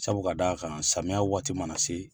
Sabu ka d'a kan, samiya waati mana se.